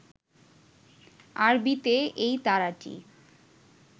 আরবিতে এই তারাটি